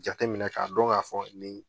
Jateminɛ ka dɔn ka fɔ nin